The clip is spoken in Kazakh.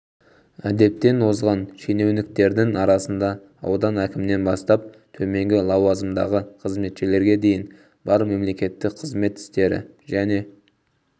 әдептен озған шенеуніктердің арасында аудан әкімінен бастап төменгі лауазымдағы қызметшілерге дейін бар мемлекеттік қызмет істері және